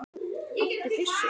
Áttu byssu?